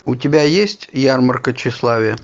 у тебя есть ярмарка тщеславия